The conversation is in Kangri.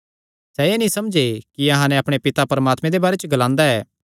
सैह़ एह़ नीं समझे कि अहां नैं अपणे पिता परमात्मे दे बारे च ग्लांदा ऐ